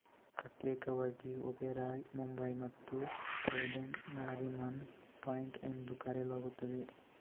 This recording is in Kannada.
ಪ್ರತ್ಯೇಕವಾಗಿ ಒಬೆರಾಯ್ ಮುಂಬಯಿ ಮತ್ತು ಟ್ರೈಡೆಂಟ್ ನಾರಿಮನ್ ಪಾಯಿಂಟ್ ಎಂದು ಕರೆಯಲಾಗುತ್ತದೆ